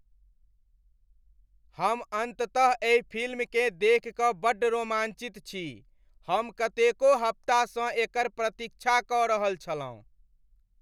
हम अन्ततः एहि फिल्मकेँ देखि कऽ बड्ड रोमाञ्चित छी! हम कतेको हफ्तासँ एकर प्रतीक्षा कऽ रहल छलहुँ।